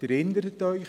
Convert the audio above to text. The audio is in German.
Sie erinnern sich: